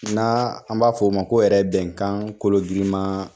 Na an b'a fɔ o ma ko yɛrɛ bɛnkan kolo girinma